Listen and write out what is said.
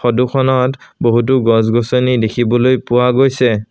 ফটোখনত বহুতো গছ-গছনি দেখিবলৈ পোৱা গৈছে।